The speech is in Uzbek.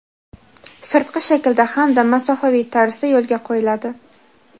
sirtqi shaklda hamda masofaviy tarzda yo‘lga qo‘yiladi.